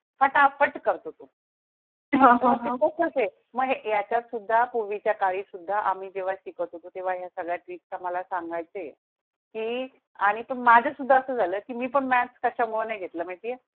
फटाफट करतो तो हां, हां मग ह्याच्या सुद्धा पूर्वीच्या काळी सुद्धा आम्ही जेव्हा शिकत होतो तेव्हा सगळे tricks मला सांगाय चे की आणि पण माझ्या सुद्धा असं झालं की मी पण maths कशा मुळे नाही घेतलं माहिती आहे